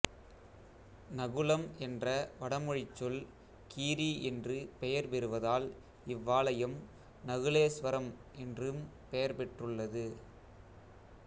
நகுலம் என்ற வடமொழிச்சொல் கீரி என்று பெயர் பெறுவதால் இவ்வாலயம் நகுலேஸ்வரம் என்றும் பெயர் பெற்றுள்ளது